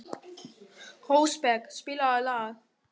Rósberg, spilaðu lag.